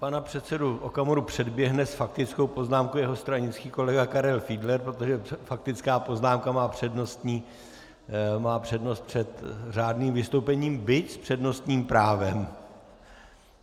Pana předsedu Okamuru předběhne s faktickou poznámkou jeho stranický kolega Karel Fiedler, protože faktická poznámka má přednost před řádným vystoupením, byť s přednostním právem.